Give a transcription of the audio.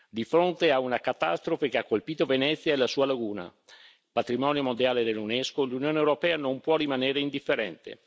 Di fronte a una catastrofe che ha colpito Venezia e la sua laguna, patrimonio mondiale dell'UNESCO, l'Unione europea non può rimanere indifferente.